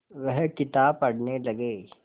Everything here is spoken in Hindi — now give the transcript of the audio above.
वह किताब पढ़ने लगे